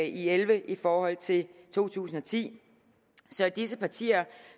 elleve i forhold til to tusind og ti så disse partier